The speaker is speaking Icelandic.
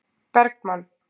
Bergmann